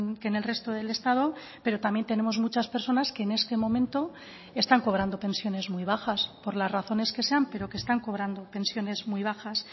que en el resto del estado pero también tenemos muchas personas que en este momento están cobrando pensiones muy bajas por las razones que sean pero que están cobrando pensiones muy bajas